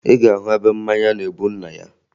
Ị ga-ahụ ebe mmanya na-ebu nna ya